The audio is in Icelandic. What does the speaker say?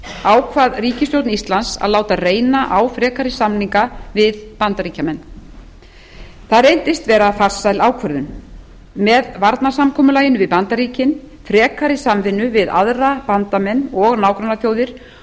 ákvað ríkisstjórn íslands að láta reyna á frekari samninga við bandaríkjamenn það reyndist vera farsæl ákvörðun með varnarsamkomulaginu við bandaríkin frekari samvinnu við aðra bandamenn og nágrannaþjóðir